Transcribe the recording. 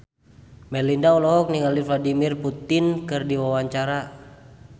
Melinda olohok ningali Vladimir Putin keur diwawancara